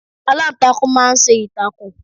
Aláǹtakùn máa ń ṣe ìtàkùn.